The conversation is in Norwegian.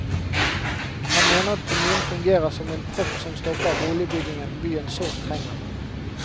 Han mener at kommunen fungerer som en propp som stopper boligbyggingen byen sårt trenger.